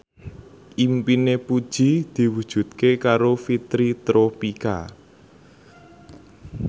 impine Puji diwujudke karo Fitri Tropika